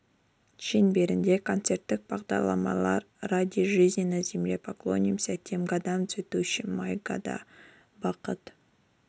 шеңберінде концерттік бағдарламалар ради жизни на земле поклонимся тем годам за цветущий май года бақыт